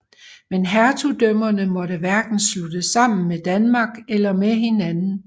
Men hertugdømmerne måtte hverken sluttes sammen med Danmark eller med hinanden